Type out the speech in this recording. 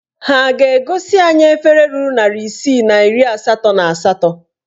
Ha a ga-egosi anyị efere ruru narị isii na iri asatọ na asatọ?